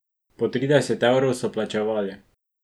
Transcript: Po trideset evrov so plačevali.